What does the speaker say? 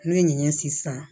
Ne ye ɲɛ sisan